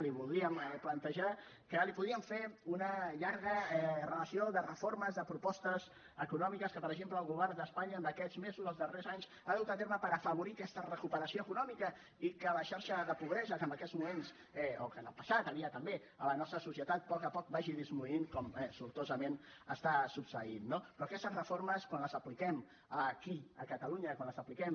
li voldríem plantejar que li podríem fer una llarga relació de reformes de propostes econòmiques que per exemple el govern d’espanya en aquests mesos els darrers anys ha dut a terme per afavorir aquesta recuperació econòmica i que la xarxa de pobresa que en aquests moments o que en el passat hi havia també a la nostra societat a poc a poc vagi disminuint com sortosament està succeint no però aquestes reformes quan les apliquem aquí a catalunya quan les apliquem